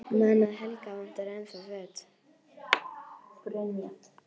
Man að Helga vantar ennþá föt.